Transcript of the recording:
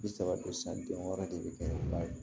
Bi saba don san den wɔɔrɔ de bɛ kɛ ba ye